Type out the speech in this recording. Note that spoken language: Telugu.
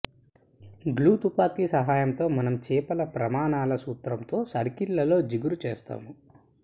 గ్లూ తుపాకీ సహాయంతో మనం చేపల ప్రమాణాల సూత్రంతో సర్కిల్లతో జిగురు చేస్తాము